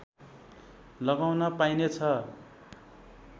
लगाउन पाइने छ